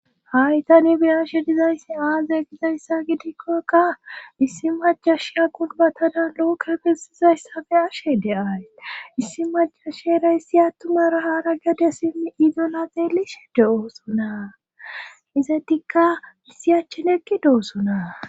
Haytani beyashe dizayssi aaze gizayssa gidikkoka issi majasha qulbatadan loke besizayssafe ashe de7ay issi majashera issi attumara hara gede simmi idonaxeelishe de7oosonaa izetikka issi achchenekki deosonaa.